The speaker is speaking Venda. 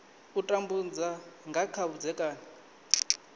u tambudza nga kha vhudzekani